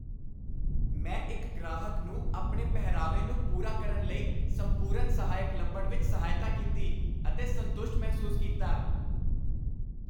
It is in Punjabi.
ਮੈਂ ਇੱਕ ਗ੍ਰਾਹਕ ਨੂੰ ਆਪਣੇ ਪਹਿਰਾਵੇ ਨੂੰ ਪੂਰਾ ਕਰਨ ਲਈ ਸੰਪੂਰਨ ਸਹਾਇਕ ਲੱਭਣ ਵਿੱਚ ਸਹਾਇਤਾ ਕੀਤੀ, ਅਤੇ ਸੰਤੁਸ਼ਟ ਮਹਿਸੂਸ ਕੀਤਾ।